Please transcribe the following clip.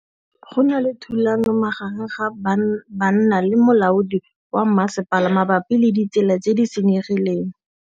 Go na le thulanô magareng ga banna le molaodi wa masepala mabapi le ditsela tse di senyegileng.